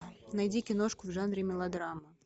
найди киношку в жанре мелодрама